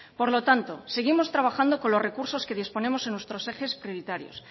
por lo tanto seguimos trabajando con los recursos que disponemos en nuestros ejes prioritarios